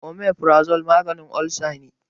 omaforazol maganin olsa ne